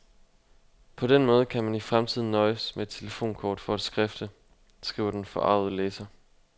På den måde kan man i fremtiden nøjes med et telefonkort for at skrifte, skriver den forargede læser.